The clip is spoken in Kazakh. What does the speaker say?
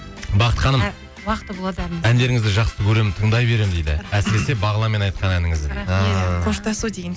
бақыт ханым әндеріңізді жақсы көремін тыңдай беремін дейді әсіресе бағланмен айтқан әніңізді дейді қоштасу деген